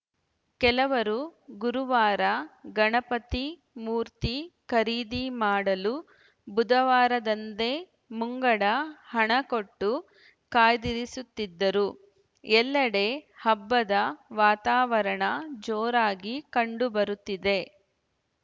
ಕೆಲವರು ಗುರುವಾರ ಗಣಪತಿ ಮೂರ್ತಿ ಖರೀದಿ ಮಾಡಲು ಬುಧವಾರದಂದೇ ಮುಂಗಡ ಹಣಕೊಟ್ಟು ಕಾಯ್ದಿರಿಸುತ್ತಿದ್ದರು ಎಲ್ಲೆಡೆ ಹಬ್ಬದ ವಾತಾವರಣ ಜೋರಾಗಿ ಕಂಡುಬರುತ್ತಿದೆ